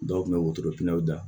Dɔw kun bɛ wotoro pinɛ